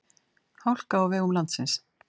Hálka á vegum landsins